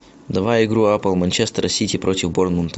давай игру апл манчестер сити против борнмута